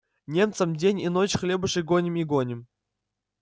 немцам день и ночь хлебушек гоним и гоним